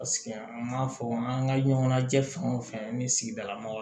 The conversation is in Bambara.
Paseke an m'a fɔ an ka ɲɔgɔn najɛ fɛn o fɛn ni sigidala mɔgɔw